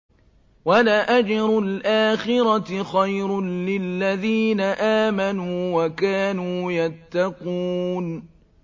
وَلَأَجْرُ الْآخِرَةِ خَيْرٌ لِّلَّذِينَ آمَنُوا وَكَانُوا يَتَّقُونَ